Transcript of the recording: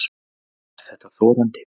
Er þetta þorandi?